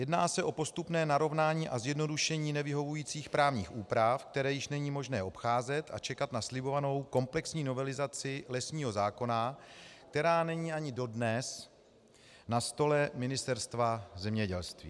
Jedná se o postupné narovnání a zjednodušení nevyhovujících právních úprav, které již není možné obcházet a čekat na slibovanou komplexní novelizaci lesního zákona, která není ani dodnes na stole Ministerstva zemědělství.